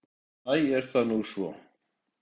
Æ, er það nú svo?